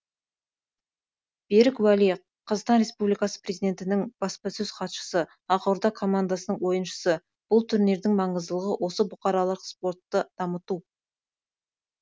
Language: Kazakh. берік уәли қазақстан республикасының президентінің баспасөз хатшысы ақорда командасының ойыншысы бұл турнирдің маңыздылығы осы бұқаралық спортты дамыту